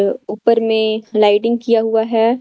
अ ऊपर में लाइटिंग किया हुआ है।